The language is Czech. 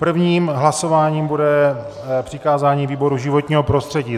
Prvním hlasováním bude přikázání výboru životního prostředí.